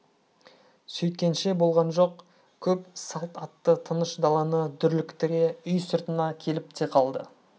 сөйткенше болған жоқ көп салт атты тыныш даланы дүрліктіре үй сыртына келіп те қалды